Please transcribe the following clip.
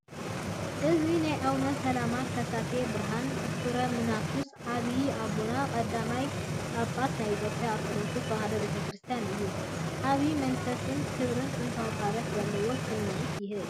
እዚ ናይ ኣቡነ ሰላማ ከሳቴ ብርሃን (ፍረምናቱስ) ዓቢይ ኣቦን ቀዳማይ ጳጳስ ናይ ኢትዮጵያ ኦርቶዶክስ ተዋህዶ ቤተ ክርስቲያንን እዩ። ዓቢ መንፈሳዊ ክብርን ጥንታዊ ታሪኽን ዘለዎ ስምዒት ይህብ!